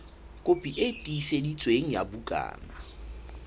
kopi e tiiseditsweng ya bukana